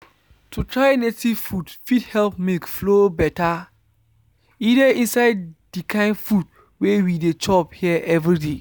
to try native food fit help milk flow better. e dey inside the kind food wey we dey chop here everyday.